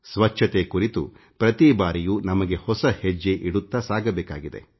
ಸ್ವಚ್ಛತೆ ಕುರಿತು ಪ್ರತಿ ಬಾರಿಯೂ ನಮಗೆ ಹೊಸ ಹೆಜ್ಜೆ ಇಡುತ್ತಾ ಸಾಗಬೇಕಿದೆ